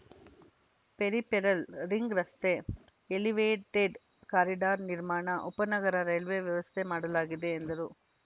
peripheral ring ರಸ್ತೆ elevated corridor ನಿರ್ಮಾಣ ಉಪನಗರ ರೈಲ್ವೇ ವ್ಯವಸ್ಥೆ ಮಾಡಲಾಗಿದೆ ಎಂದರು